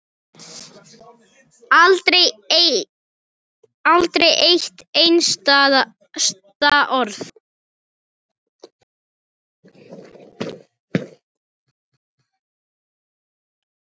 Aldrei eitt einasta orð.